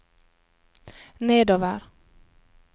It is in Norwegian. nedover